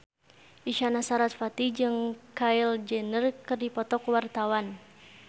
Isyana Sarasvati jeung Kylie Jenner keur dipoto ku wartawan